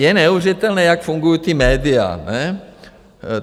Je neuvěřitelné, jak fungují ta média, ne?